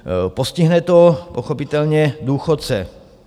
Postihne to pochopitelně důchodce.